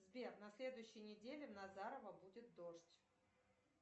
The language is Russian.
сбер на следующей неделе в назарово будет дождь